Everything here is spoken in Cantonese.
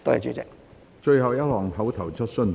最後一項口頭質詢。